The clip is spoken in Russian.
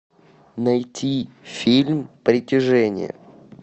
найти фильм притяжение